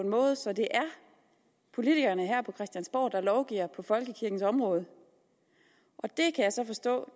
en måde så det er politikerne her på christiansborg der lovgiver på folkekirkens område og det kan jeg så forstå